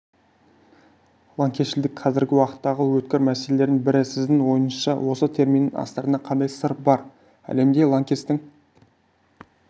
лаңкесшілдік қазіргі уақыттағы өткір мәселелердің бірі сіздің ойыңызша осы терминнің астарында қандай сыр бар әлемде лаңкестіктің